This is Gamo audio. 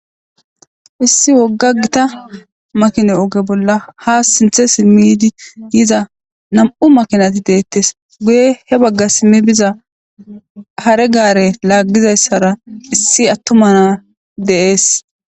Issi wogga gita makina oge bolla ha sinththe simi yiza nam7u makinati de7etes guye baggara biza hare gaaare laagizaysatara issi atuma na7a de7ees.